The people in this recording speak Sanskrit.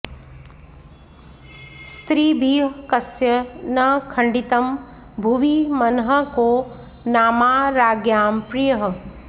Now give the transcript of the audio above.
स्त्रीभिः कस्य न खण्डितं भुवि मनः को नामा राज्ञां प्रियः